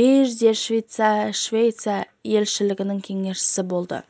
бейжіңде швеция елшілігінің кеңесшісі болды